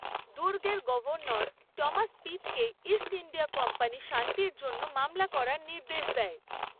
দুর্গের governor Thomas পিটকে East India Company শান্তির জন্য মামলা করার নির্দেশ দেয়।